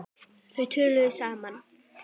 Þau töluðu saman.